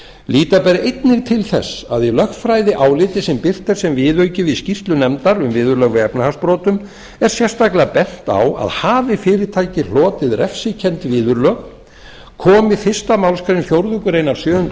líta ber einnig til þess að í lögfræðiáliti sem birt er sem viðauki við skýrslu nefndar um viðurlög við efnahagsbrotum er sérstaklega bent á að hafi fyrirtæki hlotið refsikennd viðurlög komi fyrstu málsgrein fjórðu grein sjöunda